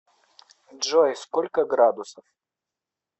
джой сколько градусов